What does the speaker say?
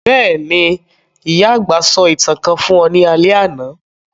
Béèni, ìyà-àgbà sọ ​​ìtàn kan fun ọ ni alẹ́ àná